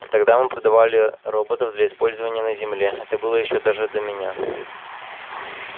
тогда мы продавали роботов для использования на земле это было ещё даже до меня